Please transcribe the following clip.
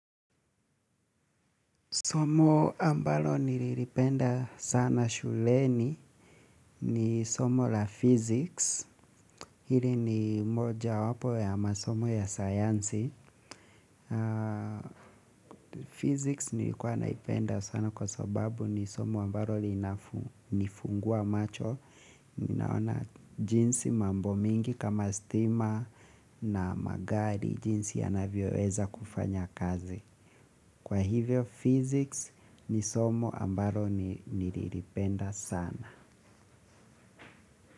Somo ambalo nililipenda sana shuleni, ni somo la physics. Hili ni moja wapo ya masomo ya sayansi. Physics nilikua naipenda sana kwa sababu ni somo ambalo linanifungua macho. Ninaona jinsi mambo mingi kama stima na magari jinsi yanavyo weza kufanya kazi. Kwa hivyo, Physics ni somo ambaro niliripenda sana.